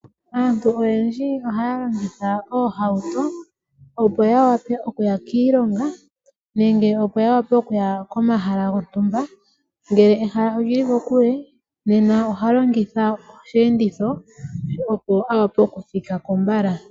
Aantu oyendji ohaya longitha oohauto opo ya wape okuya kiilonga nenge opo ya wape okuya komahala gontumba. Ngele ehala olili kokule nena oha longitha osheenditho opo a wape oku thikako mbala.